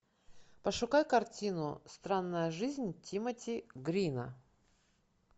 пошукай картину странная жизнь тимоти грина